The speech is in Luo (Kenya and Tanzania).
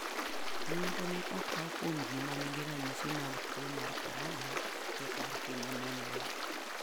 Nonro ne okaw kuom ji ma nigi ranyisi mag tuo mar corona e kar timo nonro.